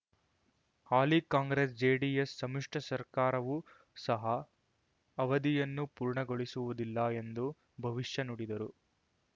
ಹಾಲಿ ಕಾಂಗ್ರೆಸ್ಜೆಡಿಎಸ್ ಸಮ್ಮಿಶ್ರ ಸರ್ಕಾರವೂ ಸಹ ಅವಧಿಯನ್ನು ಪೂರ್ಣಗೊಳಿಸುವುದಿಲ್ಲ ಎಂದು ಭವಿಷ್ಯ ನುಡಿದರು